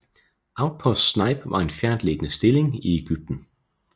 Outpost Snipe var en fjerntliggende stilling i Ægypten